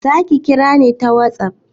Zaki kira ni ta WhatsApp?